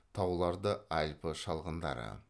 тауларда альпі шалғындары